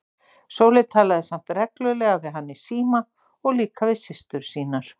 Sóley talaði samt reglulega við hann í síma og líka við systur sínar.